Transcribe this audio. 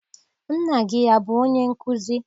Nna gị abụ onye nkụzi?